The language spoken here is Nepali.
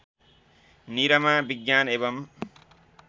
निरमा विज्ञान एवं